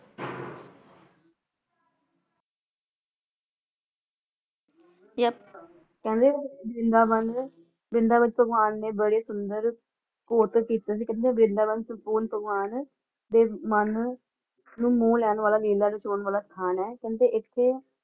ਤੇ~ ਕਹਿੰਦੇ ਵ੍ਰਿੰਦਾਵਨ ਵ੍ਰਿੰਦਾਵਨ ਭਗਵਾਨ ਨੇ ਬੜੇ ਸੁੰਦਰ ਕੀਤੇ ਸੀ। ਕਹਿੰਦੇ ਵ੍ਰਿੰਦਾਵਨ ਭਗਵਾਨ ਦੇ ਮਨ ਨੂੰ ਮੋਹ ਲੈਣ ਵਾਲਾ ਮੇਲਾ ਰਚਾਉਣ ਵਾਲਾ ਸਥਾਨ ਹੈ। ਕਹਿੰਦੇ ਇਥੇ